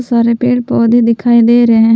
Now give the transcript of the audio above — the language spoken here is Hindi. बहुत सारे पेड़ पौधा दिखाई दे रहे हैं।